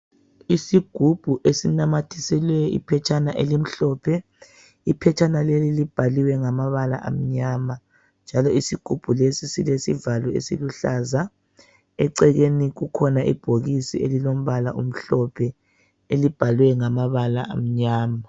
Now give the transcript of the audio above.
Isigubhu esinamathiselwe iphephatshana elimhlophe, iphetshana leli libhaliwe ngamabala amnyama, njalo isigubhu lesi silesivalo esiluhlaza, eceleni kukhona ibhokisi elilombala omhlophe elibhalwe ngamabala amnyama.